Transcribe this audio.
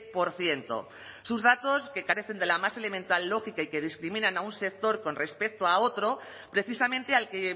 por ciento sus datos que carecen de la más elemental lógica y que discriminan a un sector con respecto a otro precisamente al que